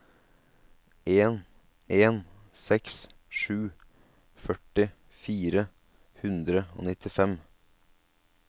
en en seks sju førti fire hundre og nittifem